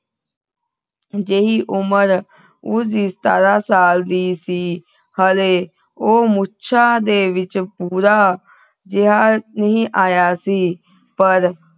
ਜਿਹੀ ਉਮਰ ਕੁਝ ਸਤਾਰਾਂ ਸਾਲ ਦੀ ਸੀ ਹਲੇ ਉਹ ਮੁੱਛਾ ਦੇ ਵਿਚ ਪੂਰਾ ਜਿਹਾ ਨਹੀਂ ਆਇਆ ਸੀ ਪਰ